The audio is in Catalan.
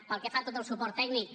pel que fa a tot el suport tècnic